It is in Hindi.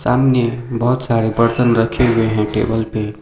सामने बहोत सारे बर्तन रखे हुए हैं टेबल पे।